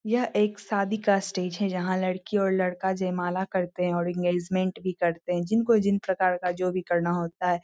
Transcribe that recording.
यह एक शादी का स्टेज है जहाँ लडकी और लड़का जयमाला करते हैं और इंगेजमेंट भी करते हैं जिनको जिन प्रकार का जो भी करना होता है।